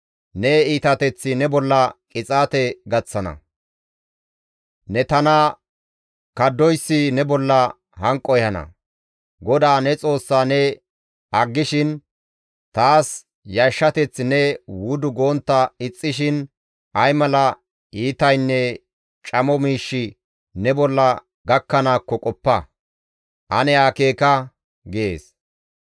Ne iitateththi ne bolla qixaate gaththana; ne tana kaddoyssi ne bolla hanqo ehana. GODAA ne Xoossaa ne aggishin, taas yashshateth ne wudu gontta ixxishin ay mala iitaynne camo miishshi ne bolla gakkanaakko qoppa; ane akeeka» gees.